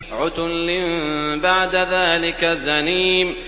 عُتُلٍّ بَعْدَ ذَٰلِكَ زَنِيمٍ